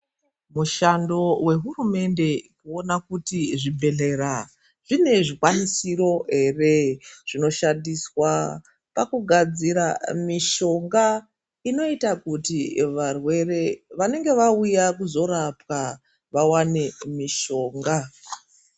Mushando wehurumende kuona kuti zvibhedhlera zvine zvikwanisiro here zvinoshandiswa pakugadzira mitombo inoita kuti varwere vanenge vauya kuzorapwa vawane mitombo.